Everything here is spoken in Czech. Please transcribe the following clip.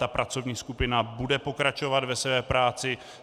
Ta pracovní skupina bude pokračovat ve své práci.